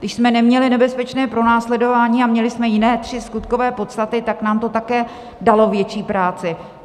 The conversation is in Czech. Když jsme neměli nebezpečné pronásledování a měli jsme jiné tři skutkové podstaty, tak nám to také dalo větší práci.